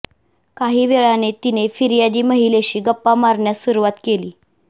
काही वेळाने तिने फिर्यादी महिलेशी गप्पा मारण्यास सुरुवात केली